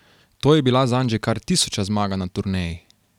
To je bila zanj že kar tisoča zmaga na turneji.